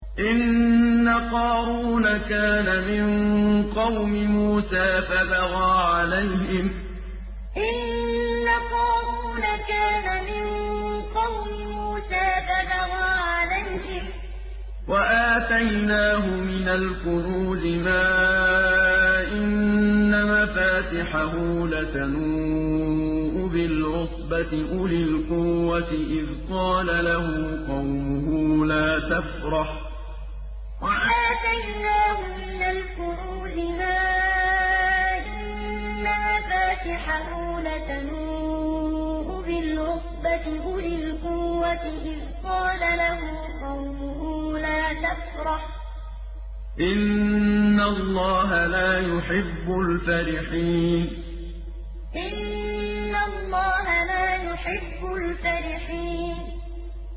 ۞ إِنَّ قَارُونَ كَانَ مِن قَوْمِ مُوسَىٰ فَبَغَىٰ عَلَيْهِمْ ۖ وَآتَيْنَاهُ مِنَ الْكُنُوزِ مَا إِنَّ مَفَاتِحَهُ لَتَنُوءُ بِالْعُصْبَةِ أُولِي الْقُوَّةِ إِذْ قَالَ لَهُ قَوْمُهُ لَا تَفْرَحْ ۖ إِنَّ اللَّهَ لَا يُحِبُّ الْفَرِحِينَ ۞ إِنَّ قَارُونَ كَانَ مِن قَوْمِ مُوسَىٰ فَبَغَىٰ عَلَيْهِمْ ۖ وَآتَيْنَاهُ مِنَ الْكُنُوزِ مَا إِنَّ مَفَاتِحَهُ لَتَنُوءُ بِالْعُصْبَةِ أُولِي الْقُوَّةِ إِذْ قَالَ لَهُ قَوْمُهُ لَا تَفْرَحْ ۖ إِنَّ اللَّهَ لَا يُحِبُّ الْفَرِحِينَ